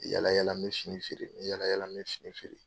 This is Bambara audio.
Yala yala n bɛ fini feere yala yala n bɛ fini feere.